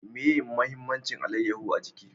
Meye mahimmancin alayaho a jiki?